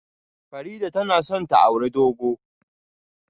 Farida tana son ta auri dogo